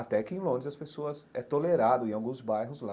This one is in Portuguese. Até que em Londres as pessoas, é tolerado em alguns bairros lá,